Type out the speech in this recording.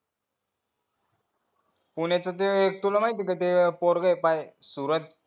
पुण्य चा ते तुला माहिती आहे का सुरज